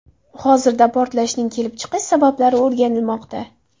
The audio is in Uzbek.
Hozirda portlashning kelib chiqish sabablari o‘rganilmoqda.